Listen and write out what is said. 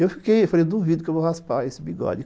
Eu fiquei, falei, duvido que eu vou raspar esse bigode.